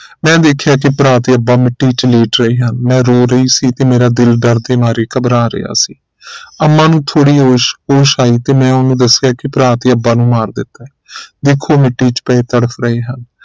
ਮੈਂ ਵੇਖਿਆ ਕਿ ਭਰਾ ਤੇ ਅੱਬਾ ਮਿੱਟੀ ਚ ਲੇਟ ਰਹੇ ਹਨ ਮੈਂ ਰੋ ਰਹੀ ਸੀ ਤੇ ਮੇਰਾ ਦਿਲ ਦਰਦ ਦੇ ਮਾਰੇ ਘਬਰਾ ਰਿਹਾ ਸੀ ਅੰਮਾ ਨੂੰ ਥੋੜੀ ਹੋਸ਼ ਆਈ ਤੇ ਮੈਂ ਉਹਨੂੰ ਦੱਸਿਆ ਕਿ ਭਰਾ ਤੇ ਅੱਬਾ ਨੂੰ ਮਾਰ ਦਿੱਤਾ ਹੈ ਵੇਖੋ ਮਿੱਟੀ ਚ ਪਏ ਤੜਫ ਰਹੇ ਹਨ